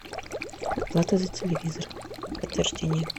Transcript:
оплата за телевизор подтверждение